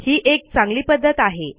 ही एक चांगली पध्दत आहे